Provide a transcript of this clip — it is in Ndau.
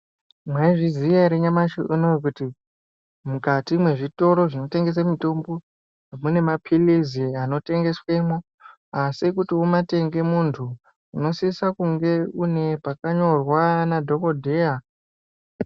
Mwaizviziya ere nyamashi uno kuti mukati mezvitoro zvinotengesa mitombo, mune maphiritsi arimo anotengeswa, asi kuti umatenge muntu unosise kunge une pakanyorwa nadhogodheya.